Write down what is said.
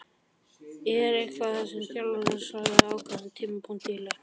Er eitthvað sem þjálfarinn gerir á ákveðnum tímapunktum í leiknum?